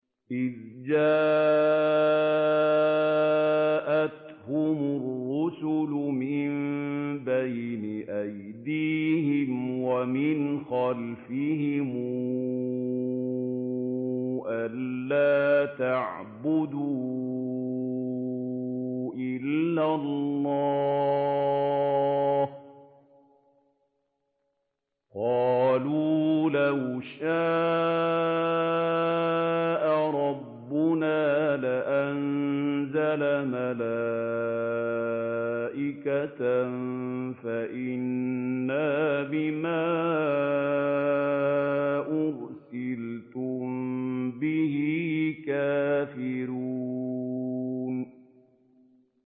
إِذْ جَاءَتْهُمُ الرُّسُلُ مِن بَيْنِ أَيْدِيهِمْ وَمِنْ خَلْفِهِمْ أَلَّا تَعْبُدُوا إِلَّا اللَّهَ ۖ قَالُوا لَوْ شَاءَ رَبُّنَا لَأَنزَلَ مَلَائِكَةً فَإِنَّا بِمَا أُرْسِلْتُم بِهِ كَافِرُونَ